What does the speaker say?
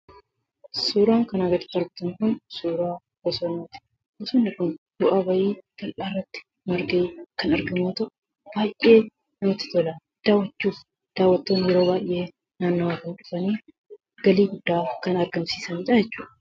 Suuraan kanaa gaditti arginu kun suuraa bosonaati. Bosonni kun bu'aa ba'ii bal'aa irratti margee kan argamu yemmuu ta'u, baay'ee namatti tola. Daawwattoonni yeroo baay'ee naannoo kana dhufanii galii guddaa kan argamsiisaniidha jechuudha.